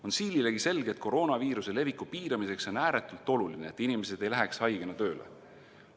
On siililegi selge, et koroonaviiruse leviku piiramiseks on ääretult oluline, et inimesed ei läheks haigena tööle.